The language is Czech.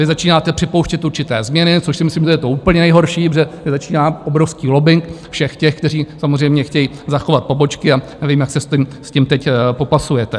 Vy začínáte připouštět určité změny, což si myslím, že je to úplně nejhorší, protože začíná obrovský lobbing všech těch, kteří samozřejmě chtějí zachovat pobočky, a nevím, jak se s tím teď popasujete.